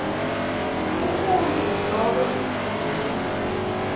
umuntfu nobe umtimba